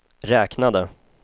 räknade